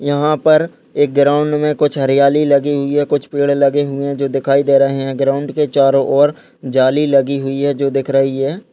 यहाँ पर एक ग्राउंड में कुछ हरियाली लगी हुई है कुछ पेड़ लगे हुये है जो दिखाई दे रहे है ग्राउंड के चारों ओर जाली लगी हुई है जो दिख रही है।